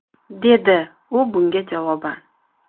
– dedi u bunga javoban.